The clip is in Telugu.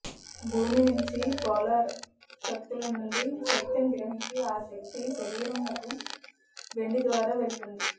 భూమి నుంచి పోలార్ శక్తుల నుండి శక్తిని గ్రహించి ఆ శక్తి శరీరంనకు వెండి ద్వారా వెళుతుంది